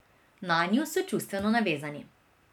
Nanju so čustveno navezani.